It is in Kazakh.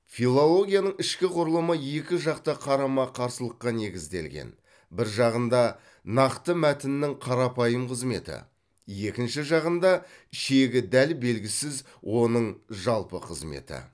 филологияның ішкі құрылымы екі жақты қарама қарсылыққа негізделген бір жағында нақты мәтіннің қарапайым қызметі екінші жағында шегі дәл белгісіз оның жалпы қызметі